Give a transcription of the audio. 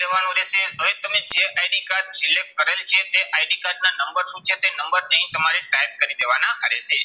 લેવાનું રહેશે. હવે તમે જે ID કાર્ડ select કરેલ છે તે ID ના નંબર શું છે, તે નંબર અહીં તમારે type કરી દેવાના રહેશે.